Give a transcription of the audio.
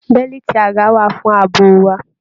Bẹ̀liiti aga wa fún ààbò wà.